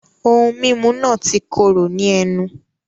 Ohun mímu náà ti kóró ní ẹnu